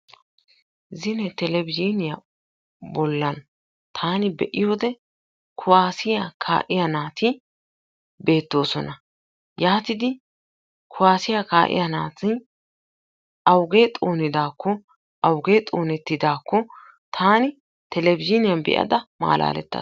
Zine telebizhiuniya bollan taani be'iyode kuwaasiya kaa'iya naati beettoosona. Yaatidi kuwaasiya kaa'iya naati awugee xoonidaakko awugee xoonettidaakko taani telebizhiiniyan be'ada malaalettas.